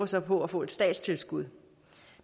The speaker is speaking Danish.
så på at få et statstilskud